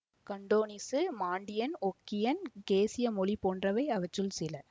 Cantonese Mandarin Hokkien கேசிய மொழி போன்றவை அவற்றுள் சில